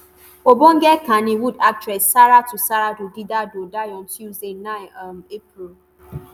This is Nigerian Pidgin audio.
ogbonge kannywood actress saratu saratu gidado die on tuesday 9 um april.